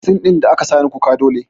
Sin ɗin da aka sani kuka dole